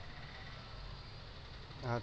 আচ্ছা